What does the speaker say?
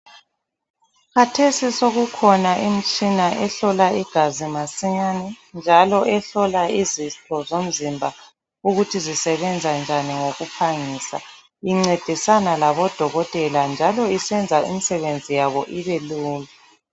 Kathesi sokukhona imitshina ehlola igazi masinyane njalo ehlola izifo zomzimba ukuthi zisebenza njani ngokuphangisa incedisana labodokotela njalo isenza imisebenzi yabo ibelula.